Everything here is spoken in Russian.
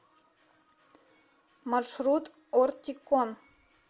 маршрут ортикон